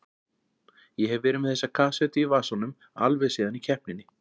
Ég hef verið með þessa kassettu í vasanum alveg síðan í keppninni